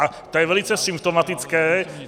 A to je velice symptomatické.